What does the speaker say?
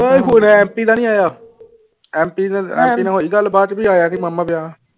ਉਏ phone MP ਦਾ ਨੀ ਆਇਆ ਐਂਪੀ ਐਂਪੀ ਨਾਲ ਹੋਈ ਗੱਲਬਾਤ ਵੀ ਆਇਆ ਨੀ ਮਾਮਾ ਵਿਆਹ